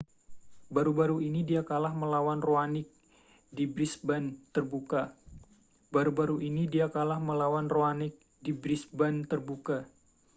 baru-baru ini dia kalah melawan raonic di brisbane terbuka